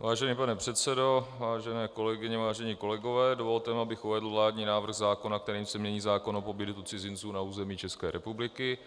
Vážený pane předsedo, vážené kolegyně, vážení kolegové, dovolte mi, abych uvedl vládní návrh zákona, kterým se mění zákon o pobytu cizinců na území České republiky,